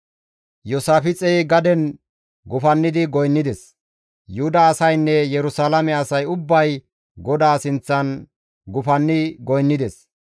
Iyoosaafixey gaden gufanni goynnides; Yuhuda asaynne Yerusalaame asay ubbay GODAA sinththan gufanni goynnides.